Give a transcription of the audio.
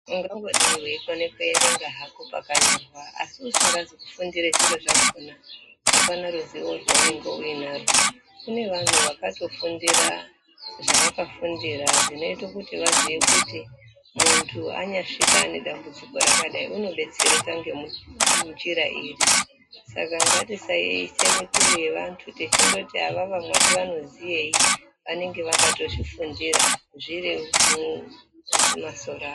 Ungangodai weikona kuerenga hako pakanyorwa asi usingazi kufundire zviro zvakona apana rizivo rwaunenge uinarwo kune vantu vakatofundire zvavakafundira zvinoita kuti vaziye kuti muntu anyasvika ane dambudziko rakadai unodetserwka ngenjira iri ska ngatisa yeyise mituro yevntu techindoti avava mwati vanoziyeyi vanenge vakatozvifundira zviromwo mumasoro avo.